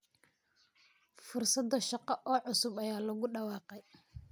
Fursado shaqo oo cusub ayaa lagu dhawaaqay.